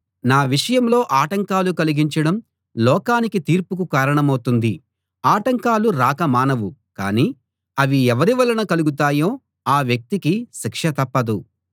నా విషయంలో ఆటంకాలు కలిగించడం లోకానికి తీర్పుకు కారణమౌతుంది ఆటంకాలు రాక మానవు కానీ అవి ఎవరి వలన కలుగుతాయో ఆ వ్యక్తికి శిక్ష తప్పదు